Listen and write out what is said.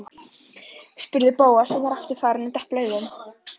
spurði Bóas og var aftur farinn að depla augunum.